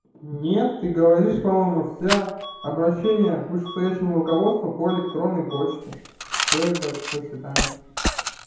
не ты говоришь по-моему все обращение к вышестоящему руководству по электронной почте всё ебать до свидания